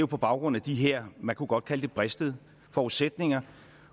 på baggrund af de her man kunne godt kalde det bristede forudsætninger